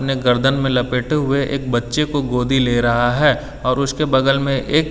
अपने गर्दन में लपेटे हुए एक बच्ची को गोदी ले रहा है और उसके बगल में एक।